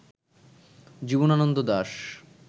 Jibanananda Das